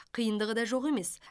қиындығы да жоқ емес